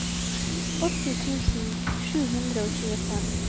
åtti tusen sju hundre og tjuefem